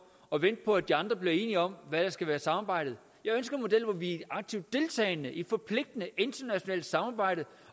og vente på at de andre bliver enige om hvad der skal være samarbejde jeg ønsker en model hvor vi er aktivt deltagende i et forpligtende internationalt samarbejde